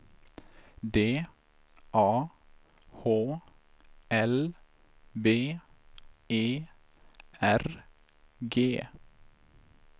D A H L B E R G